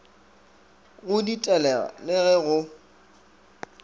go ditelega le ge go